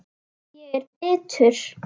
Ég er bitur.